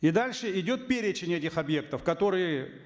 и дальше идет перечень этих объектов которые